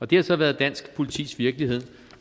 det har så været dansk politis virkelighed